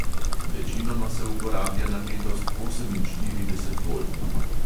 Večinoma se uporablja napetost oseminštirideset voltov.